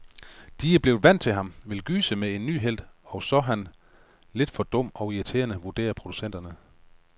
De er blevet vant til ham, vil gyse med en ny helt, og så han lidt for dum og irriterende, vurderer producenterne.